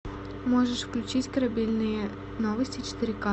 можешь включить корабельные новости четыре ка